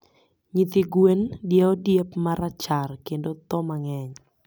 Nyithi gwen diewo diep marachar kendo tho mangeny